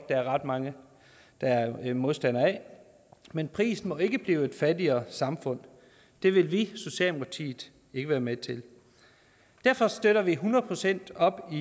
der er ret mange der er modstandere af men prisen må ikke blive et fattigere samfund det vil vi i socialdemokratiet ikke være med til derfor støtter vi hundrede procent op om